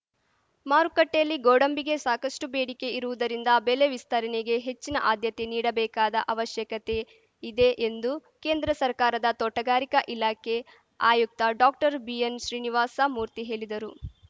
ಮಾರುಕಟ್ಟೆಯಲ್ಲಿ ಗೋಡಂಬಿಗೆ ಸಾಕಷ್ಟುಬೇಡಿಕೆ ಇರುವುದರಿಂದ ಬೆಲೆ ವಿಸ್ತರಣೆಗೆ ಹೆಚ್ಚಿನ ಆದ್ಯತೆ ನೀಡಬೇಕಾದ ಅವಶ್ಯಕತೆಯಿದೆ ಎಂದು ಕೇಂದ್ರ ಸರ್ಕಾರದ ತೋಟಗಾರಿಕ ಇಲಾಖೆ ಆಯುಕ್ತ ಡಾಕ್ಟರ್ ಬಿಎನ್‌ಶ್ರೀನಿವಾಸ ಮೂರ್ತಿ ಹೇಲಿದರು